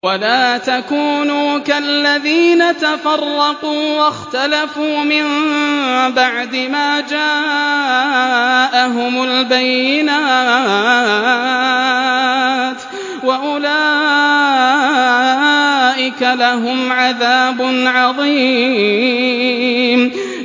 وَلَا تَكُونُوا كَالَّذِينَ تَفَرَّقُوا وَاخْتَلَفُوا مِن بَعْدِ مَا جَاءَهُمُ الْبَيِّنَاتُ ۚ وَأُولَٰئِكَ لَهُمْ عَذَابٌ عَظِيمٌ